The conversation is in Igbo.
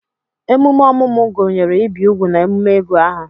emume ọmụmụ gụnyere ibi úgwù na emume ịgụ aha